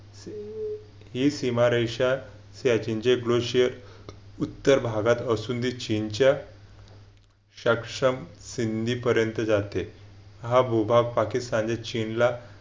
ही सीमारेषा त्याची प्रश्न उत्तर भागात असून असं चीनच्या सक्षम सिंधी पर्यंत जाते. हा भूभाग पाकिस्तान चीन ला